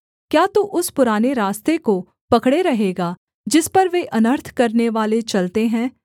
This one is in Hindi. क्या तू उस पुराने रास्ते को पकड़े रहेगा जिस पर वे अनर्थ करनेवाले चलते हैं